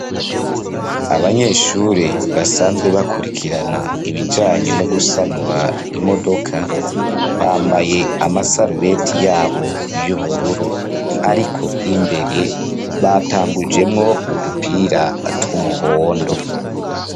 Abanyeshure basanzwe bakurikirana ibijanye no gusanura imodoka, bambaye amasarubete yabo y'ubururu. Ariko imbere batangujemwo udupira tw'umuhondo.